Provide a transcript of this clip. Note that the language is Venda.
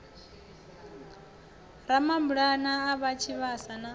ramabulana a ha tshivhasa na